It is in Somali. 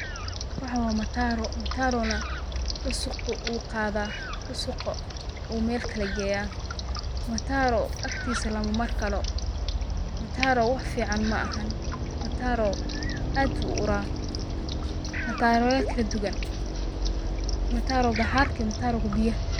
Waxan waa mataro, mataro na dhusuq uu qaada, dhusuqa uu Mel kale geeya, mataro agtiisa lama mari karo, mataro wax fican ma ahan, mataro aad ayu uu uraa, mataroya kala duban, mataroga xarka iyo mataroga biyaha